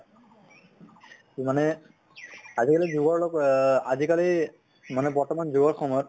মানে আজি কালি যুগৰ অহ আজি কালি মানে বৰ্তমান যুগৰ সময়ত